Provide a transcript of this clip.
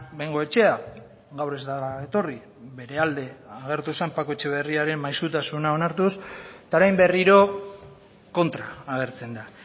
bengoechea gaur ez da etorri bere alde agertu zen paco etxeberriaren maisutasuna onartuz eta orain berriro kontra agertzen da